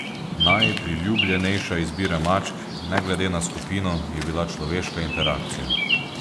Najpriljubljenejša izbira mačk, ne glede na skupino, je bila človeška interakcija.